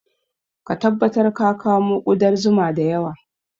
Ka tabbatar ka kamo ƙudar zuma da yawa